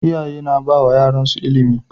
Iyaye na bawa yaransu ilimi